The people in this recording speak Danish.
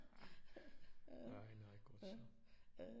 Nej nej godt så